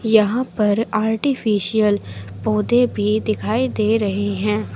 यहां पर आर्टिफिशियल पौधे भी दिखाई दे रहे हैं।